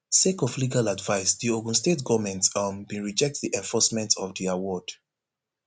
sake of legal advice di ogun state goment um bin reject di enforcement of di award